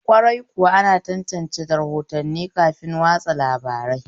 Kwarai kuwa, ana tantance rahotanni kafin watsa labarai